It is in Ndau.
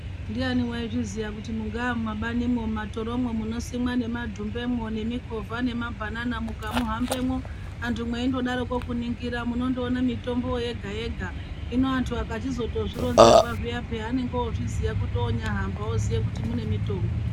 Ndiani waizviziiya kuti mungaa mumabanimwo mumatoromwo munosimwa nemadumbemwo nemikovha nemabhanana mukamuhambemwo antu mweindodaremwo kuningira munondoona mitombo yega yega hino antu akachizozvironzerwa zviya peya vanenge vozviziya kuti onyahamba oziye kuti mune mitombo.